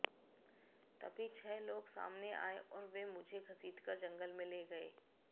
तभी छह लोग सामने आये और वे मुझे घसीटकर जंगल में ले गये